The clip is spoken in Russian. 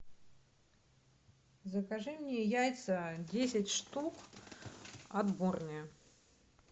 закажи мне яйца десять штук отборные